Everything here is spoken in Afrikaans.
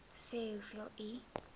sê hoeveel u